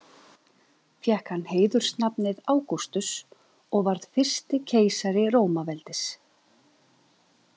Fékk hann heiðursnafnið Ágústus og varð fyrsti keisari Rómaveldis.